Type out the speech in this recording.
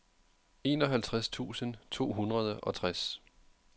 enoghalvtreds tusind to hundrede og tres